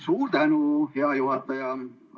Suur tänu, hea juhataja!